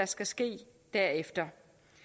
skal ske derefter